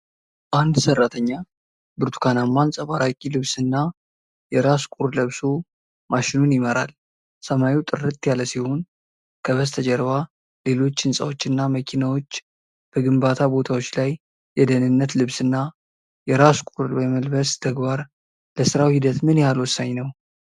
አንድ ሰራተኛ ብርቱካናማ አንጸባራቂ ልብስና የራስ ቁር ለብሶ ማሽኑን ይመራል፤ ሰማዩ ጥርት ያለ ሲሆን፤ ከበስተጀርባ ሌሎች ሕንጻዎችና መኪናዎች ።በግንባታ ቦታዎች ላይ የደህንነት ልብስና የራስ ቁር የመልበስ ተግባር ለሥራው ሂደት ምን ያህል ወሳኝ ነው?